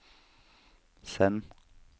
send